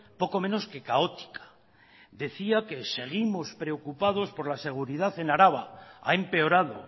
poco menos que caótica decía que seguimos preocupados por la seguridad en araba ha empeorado